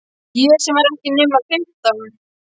Ég sem var ekki nema fimmtán!